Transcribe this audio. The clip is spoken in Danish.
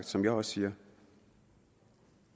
som jeg også siger og